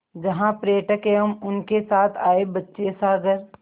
जहाँ पर्यटक एवं उनके साथ आए बच्चे सागर